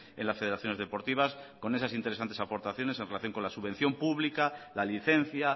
en las federaciones deportivas con esas interesantes aportaciones en relación con la subvención pública la licencia